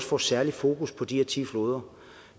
får særligt fokus på de her ti floder